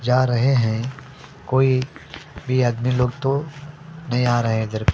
जा रहे हैं कोई भी आदमी लोग तो नहीं आ रहे हैं इधर --